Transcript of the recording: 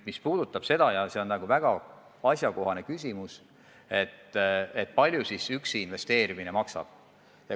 Nüüd see väga asjakohane küsimus, kui palju siis üksi investeerimine maksab.